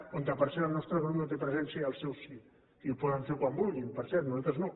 on per cert el nostre grup no té presència el seu sí i ho poden fer quan vulguin per cert nosaltres no